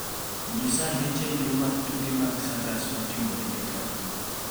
Nyisa ane chenro mag tuke mag circus matimore e taon